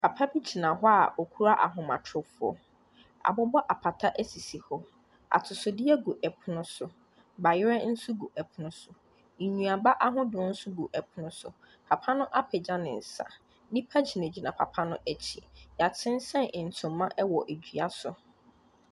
Papa bi gyina hɔ a ɔkura ahomatorofoɔ. Wɔabobɔ apata sisi hɔ. Atosodeɛ gu pono so. Bayerɛ nso gu pono so. Nnuaba ahodoɔ nso gu pono so. Papa no apagya ne nsa. Nnipa gyinagyina papa no akyi. Wɔasensɛn ntoma wɔ dua so.